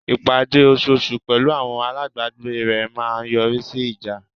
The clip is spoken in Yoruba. Ìpàdé osoosù pẹ̀lú àwọn alábàgbé rẹ̀ máa ń yọrí sí ìjà.